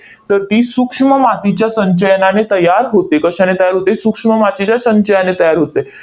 तर ती सूक्ष्म मातीच्या संचयनाने तयार होते. कशाने तयार होते? सूक्ष्म मातीच्या संचयाने तयार होते.